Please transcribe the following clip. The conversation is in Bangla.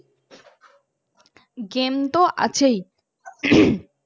গেম তো আছেই